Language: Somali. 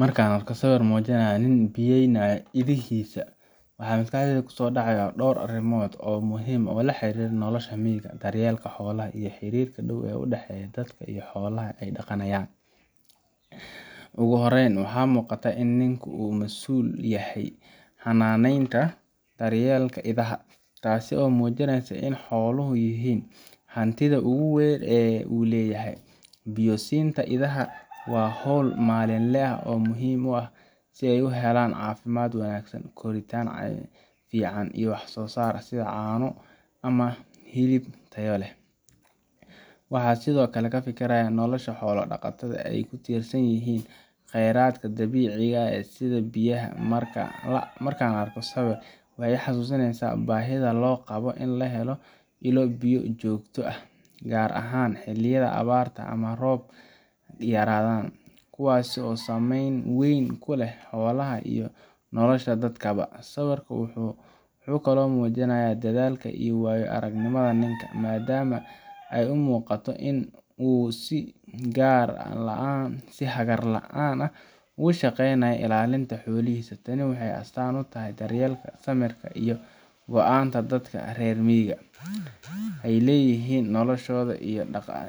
Marka aan arko sawir muujinaya nin biyeynaya idihiisa, waxaa maskaxdayda ku soo dhacaya dhowr arrimood oo muhiim ah oo la xiriira nolosha miyiga, daryeelka xoolaha, iyo xiriirka dhow ee u dhexeeya dadka iyo xoolaha ay dhaqanayan. Ugu horreyn, waxaa muuqata in ninku uu ka masuul yahay xanaaneynta iyo daryeelka idaha, taasoo muujinaysa in xooluhu yihiin hantida ugu weyn ee uu leeyahay. Biyo siinta idaha waa hawl maalinle ah oo muhiim ah si ay u helaan caafimaad wanaagsan, koritaan fiican, iyo wax-soo-saar sida caano ama hilib tayo leh. Waxaan sidoo kale ka fikirayaa sida nolosha xoolo-dhaqatada ay ugu tiirsan yihiin kheyraadka dabiiciga ah sida biyaha. Marka aan arko sawirkan, waxay i xasuusinaysaa baahida loo qabo in la helo ilo biyo joogto ah, gaar ahaan xilliyada abaarta ama roob yaraan, kuwaasoo saamayn weyn ku leh xoolaha iyo nolosha dadkaba. Sawirku wuxuu kaloo muujinayaa dadaalka iyo waayo-aragnimada ninka, maadaama ay muuqato inuu si hagar la’aan ah ugu shaqaynayo ilaalinta xoolihiisa. Tani waxay astaan u tahay daryeelka, samirka, iyo ka go’naanta dadka reer miyiga u leeyihiin noloshooda